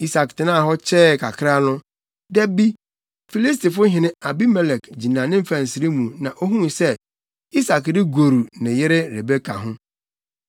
Isak tenaa hɔ kyɛɛ kakra no, da bi, Filistifo hene Abimelek gyina ne mfɛnsere mu na ohuu sɛ Isak regoru ne yere Rebeka ho.